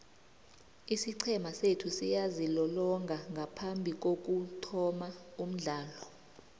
isiqhema sethu siyazilolonga ngaphambikokuthoma umdlalo